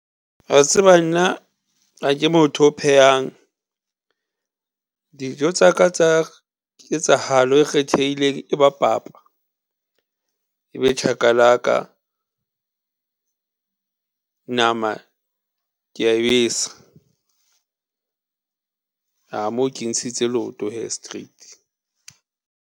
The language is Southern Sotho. Wa tseba nna ha ke motho o phehang. Dijo tsaka tsa ketsahalo e kgethehileng e ba papa, e be chakalaka nama kea e besa. Aa, moo ke ntshitse leoto hee, straight.